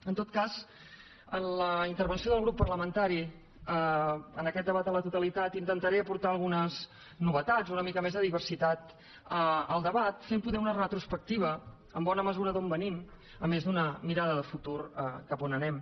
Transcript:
en tot cas en la intervenció del grup parlamentari en aquest debat a la totalitat intentaré aportar algunes novetats una mica més de diversitat al debat fent poder una retrospectiva en bona mesura d’on venim a més d’una mirada de futur cap a on anem